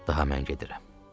Daha mən gedirəm.